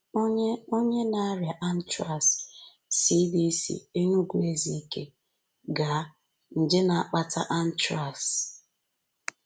Onye Onye na-arịa anthrax: CDC, Enugu-Ezike, Ga.; nje na-akpata anthrax: © Dr